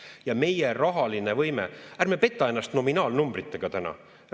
Ja meie rahaline võime – ärme petame ennast nominaalnumbritega täna.